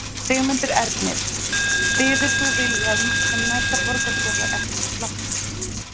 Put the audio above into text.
Sigmundur Ernir: Styður þú Vilhjálm sem næsta borgarstjóraefni flokksins?